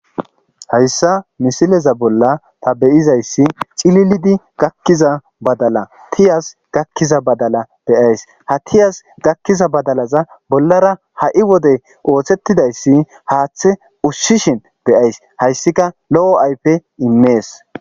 hayssa misileza bolla ta beyizayssi cililidi gakkiza badala tiyas gakkiza badala beyays ha tiyas gakkiza badalaza bollara ha7i wodey ooththettidayssi haaththe usshishin beyays hayssika lo7o aype immees